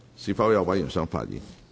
是否有委員想發言？